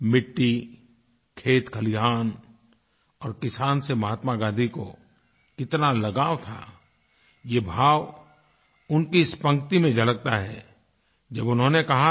मिट्टी खेतखलिहान और किसान से महात्मा गाँधी को कितना लगाव थाये भाव उनकी इस पंक्ति में झलकता है जब उन्होंने कहा था